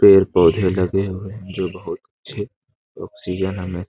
पेड़ पौधे लगे हुए हैं जो बहुत अच्छे ऑक्सीजन हमें --